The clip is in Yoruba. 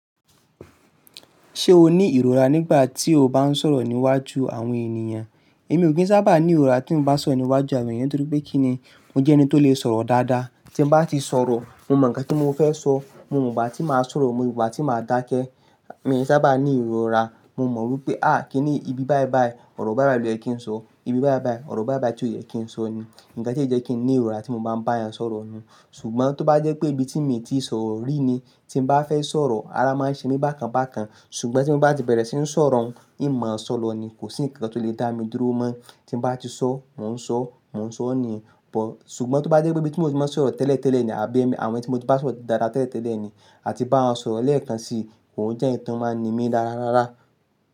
Ṣé o ní ìrora nígbà tí o bá ń sọ̀rọ̀ níwájú àwọn ènìyàn? Èmi ò kí ń sábà ní ìrora tí n mi sọ̀rọ̀ níwájú àwọn ènìyàn. Nítorí pé kíni mo jẹ́ ẹni tó lè sọ̀rọ̀ dáadáa. Tí mo bá ti sọ̀rọ̀, mo mọ̀ ǹkan tí mo fẹ́ sọ. Mo mọ̀ gbàti máa sọ̀rọ̀, mo mọ̀ gbàti ma dákẹ́. M sábà ní ìrora, mo mọ̀ wípé à kíni ìbí báí báí, ọ̀rọ̀ báí báí ló yẹ kí ń sọ. Ìbí báí báí, ọ̀rọ̀ báí báí tí ó yẹ kí ń sọ ni ǹkan tí ó jẹ́ kí n ní ìrora tí mo bá ń bá èèyàn sọ̀rọ̀ ni yen Ṣùgbọ́n tó bá jẹ́ pé ibi tí mi ti sọ̀rọ̀ rí ni tí mo bá fẹ́ sọ̀rọ̀, ara máa ń ṣe mí bákan bákan. Ṣùgbọ́n tí mo bá ti bẹ̀rẹ̀ sí ń sọ̀rọ̀, n máa ń sọ̀lo ni, kò sí ǹkan tí ó lè dá mi dúró mọ́. Tí n bá ti sọ, mò ń sọ, mò ń sọ ni yen Ọ̀pọ̀-- ṣùgbọ́n tó bá jẹ́ pé ibi tí mo ti máa ń sọ̀rọ̀ tẹ́lẹ̀ tẹ́lẹ̀ ni àbí àwọn ibi tí mo ti bá sọ̀rọ̀ dáadáa tẹ́lẹ̀ tẹ́lẹ̀ ni a ti bá wọ́n sọ̀rọ̀ lẹ́ẹ̀kan sí i, kò n jẹ́ ǹkan tí ó máa ń ní mí dáradára.